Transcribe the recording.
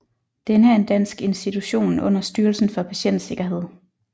Denne er en dansk institution under Styrelsen for Patientsikkerhed